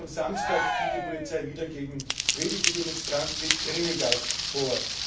Erst am Samstag ging die Polizei wieder gegen friedliche Demonstranten mit Tränengas vor.